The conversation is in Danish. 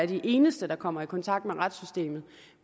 de eneste der kommer i kontakt med retssystemet